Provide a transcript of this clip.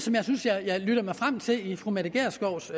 jeg synes jeg lyttede mig frem til i fru mette gjerskovs